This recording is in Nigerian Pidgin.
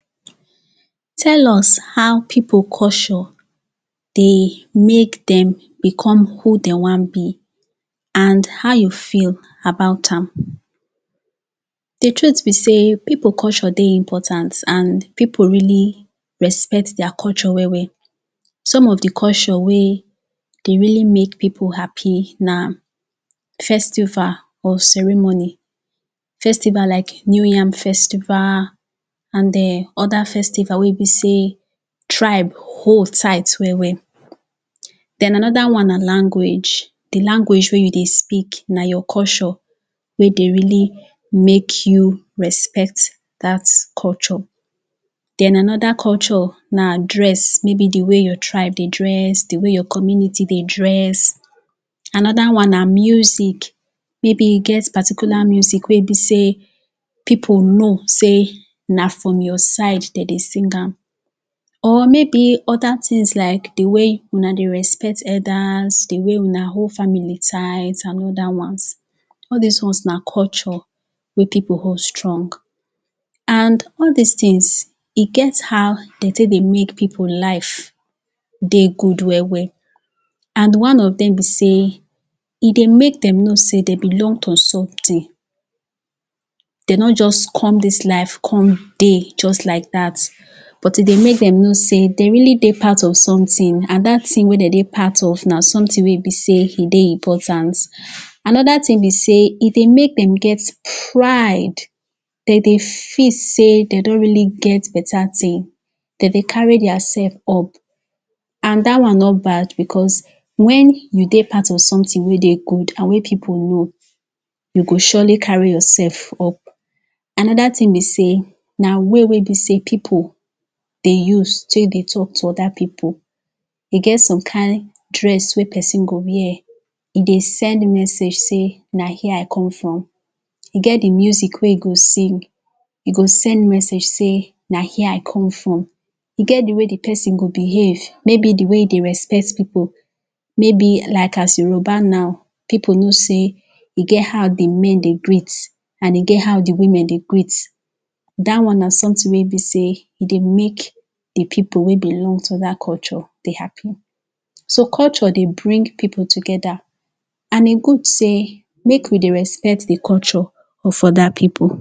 tell us how people culture de mek dem become who de want be and how you feel about am the truth be say people culture de important and pipul really respect their culture well well some of the culture wey de really make people happy na festival or ceremony festival like new yam festival and em other festival wey e be say tribe hold tight well well then anoda one na language the language wey you de speak na your culture wey de really make you respect dat culture then another culture na na dress maybe the way your tribe de tribe de dress di way your community de dress anoda one na music maybe e get particular music wey e be say people know say na from your side dem de sing am or maybe other things like the way una de respect elders the way una hold family tight and all dat ones all these ones na culture wey people hold strong and all these things e get how dem take de make people life de good well well and one of dem be say e de make dem know say dem belong to something dem no just come this life come de just like dat but e de make dem know say dem really de part of something and dat thing wey dem de part of na something wey e be say e de important another thing be say e de make them get pride dem de feel say dem don really get better thing dem de carry their self up and dat one no bad because wen you de part of something wey dey good and wey people know you go surely carry yorself up anoda thing be say na way wey be say people de use take de talk to other people e get some kind dress wey person go wear e de send message say na here i come from e get the music wey the go sing e go send message say na here I come from e get the way the person go behave maybe the way e de respect people maybe like as yoruba now people know sey e get how the men de greet and e get how the women de greet dat one na something wey be say e de make edi people wey belong to dat culture de happy so culture de bring people together and e good say make we de respect the culture of other people